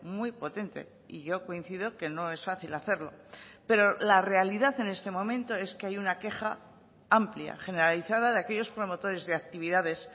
muy potente y yo coincido que no es fácil hacerlo pero la realidad en este momento es que hay una queja amplia generalizada de aquellos promotores de actividades